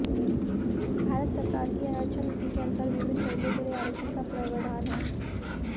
भारत सरकार की आरक्षण नीति के अनुसार विभिन्न वर्गों के लिए आरक्षण का प्रावधान है